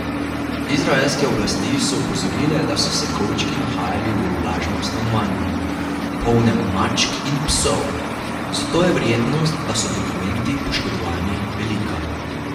Izraelske oblasti so opozorile, da so se kovčki nahajali v vlažnem stanovanju, polnem mačk in psov, zato je verjetnost, da so dokumenti poškodovani, velika.